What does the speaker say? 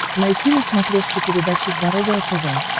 найти на смотрешке передачу здоровое тв